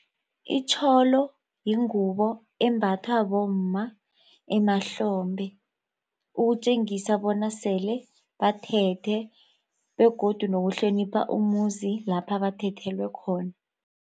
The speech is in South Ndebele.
Itjholo yingubo embathwa bomma emahlombe ukutjengisa bona sele bathethe begodu nokuhlonipha umuzi lapha bathathelwe khona.